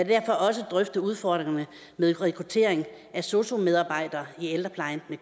derfor også drøftet udfordringerne med rekruttering af sosu medarbejdere i ældreplejen med